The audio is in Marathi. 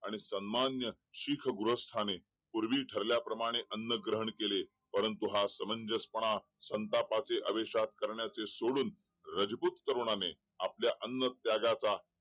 आणि सन्माननीय शीख गृहस्थाने पूर्वी ठरल्याप्रमाणे अन्न ग्रहण केले परंतु हा सामंजस्यपणा संतापाच्या आवेशात सोडून राजपूत तरुणाने आपल्या अन्न त्यागाचा